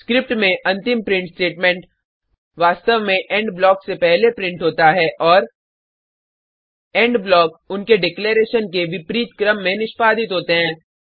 script में अंतिम print statement वास्तव में इंड ब्लॉक से पहले प्रिंट होता है और इंड ब्लॉक उनके डिक्लेरैशन के विपरीत क्रम में निष्पादित होते हैं